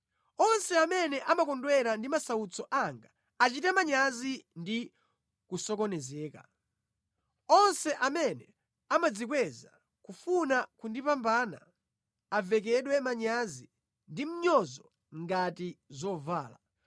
Onse amene amakondwera ndi masautso anga achite manyazi ndi kusokonezeka. Onse amene amadzikweza kufuna kundipambana, avekedwe manyazi ndi mnyozo ngati zovala.